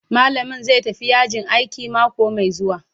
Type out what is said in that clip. Malamin zai tafi yajin aiki mako mai zuwa.